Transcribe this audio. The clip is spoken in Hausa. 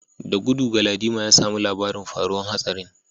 Da gudu Galadima ya samu labarin faruwar hatsarin